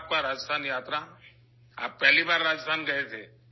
آپ کا راجستھان دورہ کیسا رہا؟ آپ پہلی بار راجستھان گئے تھے!